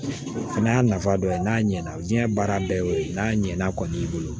Fɛnɛ y'a nafa dɔ ye n'a ɲɛna diɲɛ baara bɛɛ y'o ye n'a ɲɛna kɔni y'i bolo